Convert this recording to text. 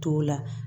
T'o la